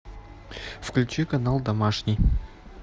включи канал домашний